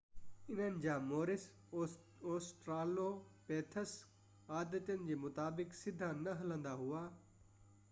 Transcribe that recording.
انهن جا مورث اوسٽرالوپيٿيڪس عادتن جي مطابق سڌا نہ هلندا هئا